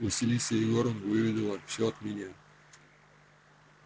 василиса егоровна выведала всё от меня